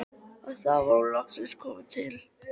Og þá var hún loksins komin til